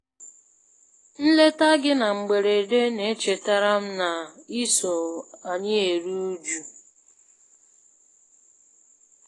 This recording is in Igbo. Nleta gị na mgberede na-echetara m na iso anyị eru uju.